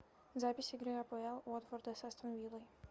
запись игры апл уотфорда с астон виллой